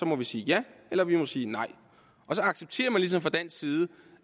må vi sige ja eller vi må sige nej og så accepterer man ligesom fra dansk side